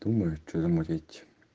думаю что замутить